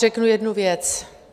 Řeknu jednu věc.